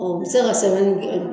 Ɔ bɛ se ka sɛbɛnni kɛ